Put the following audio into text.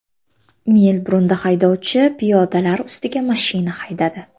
Melburnda haydovchi piyodalar ustiga mashina haydadi.